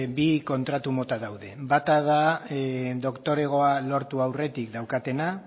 bi kontratu mota daude bata da doktoregoa lortu aurretik daukatena